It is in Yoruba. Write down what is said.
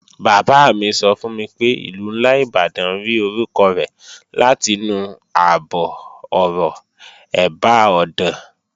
Bàbá mi sọ fún mi pé Ìlú ńlá Ìbàdàn rí orúkọ rẹ̀ látinú àbọ̀-ọ̀rọ̀, "ẹ̀bá ọ̀dàn"